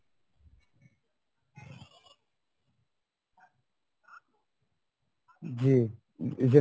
জি